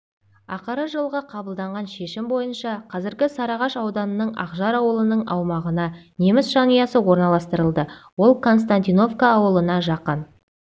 ақыры жылғы қабылданған шешім бойынша қазіргі сарыағаш ауданының ақжар ауылының аумағына неміс жанұясы орналастырылды ол константиновка ауылына жақын